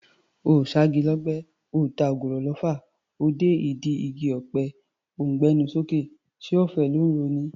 Oò ṣá igi lọ́gbẹ́, oò ta ògùrọ̀ lọfà, o dé ìdí ọ̀pẹ o ńgbé ẹnu sókè; ṣé ọ̀fẹ́ ló ńro ni?